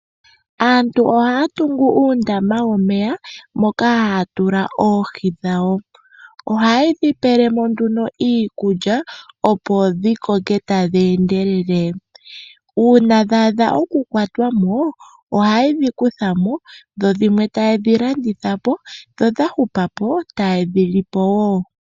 Aantu ohaa tungu uundama womeya moka haa tula oohi dhawo, ohaye dhi pele mo nduno iikulya opo dhi koke tadhi endelele. Uuna dha adha okukwata mo ohaye dhi kutha mo dho dhimwe taa landitha dhimwe taa li.